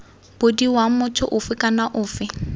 bodiwa motho ofe kana ofe